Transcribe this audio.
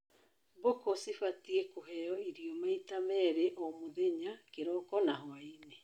Mbũkũ cibatie kũheo irio maita merĩ o mũthenya, kĩroko na hwaĩinĩ